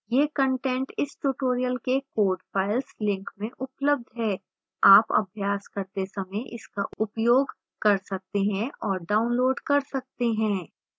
यह कंटेंट इस tutorial के code files link में उपलब्ध है